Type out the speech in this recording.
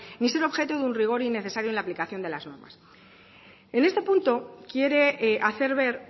ni ser objeto de un rigor innecesario en la aplicación de las normas en este punto quiere hacer ver